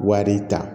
Wari ta